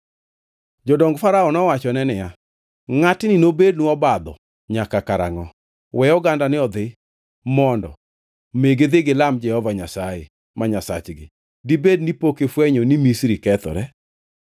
Jodong Farao nowachone niya, “Ngʼatni nobednwa obadho nyaka karangʼo? We ogandani odhi mondo mi gidhi gilam Jehova Nyasaye ma Nyasachgi. Dibed ni pok ifwenyo ni Misri kethore?”